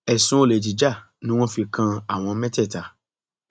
ẹsùn olè jíjà ni wọn fi kan àwọn mẹtẹẹta